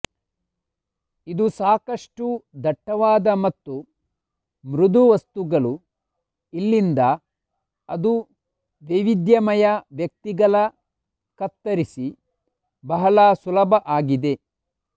ಇದು ಸಾಕಷ್ಟು ದಟ್ಟವಾದ ಮತ್ತು ಮೃದು ವಸ್ತುಗಳು ಇಲ್ಲಿಂದ ಅದು ವೈವಿಧ್ಯಮಯ ವ್ಯಕ್ತಿಗಳ ಕತ್ತರಿಸಿ ಬಹಳ ಸುಲಭ ಆಗಿದೆ